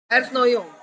Erna og Jón.